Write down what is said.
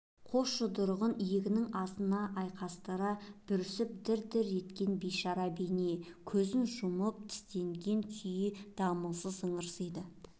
қос жұдырығын иегінің астына айқастыра бүрсіп дір-дір еткен бейшара бейне көзін жұмып тістенген күй дамылсыз ыңырсиды